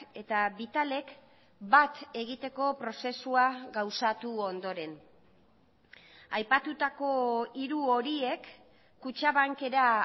eta vitalek bat egiteko prozesua gauzatu ondoren aipatutako hiru horiek kutxabankera